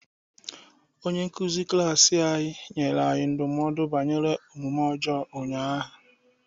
Onye nkuzi klaasị anyị nyere anyị ndụmọdụ banyere omume ọjọọ ụnyaahụ.